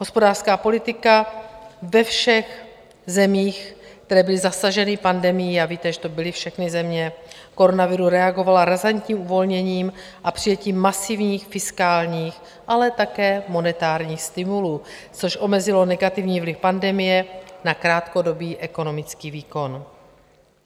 Hospodářská politika ve všech zemích, které byly zasaženy pandemií - a víte, že to byly všechny země - koronaviru, reagovala razantní uvolněním a přijetím masivních fiskálních, ale také monetárních stimulů, což omezilo negativní vliv pandemie na krátkodobý ekonomický výkon.